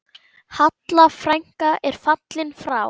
Halla frænka er fallin frá.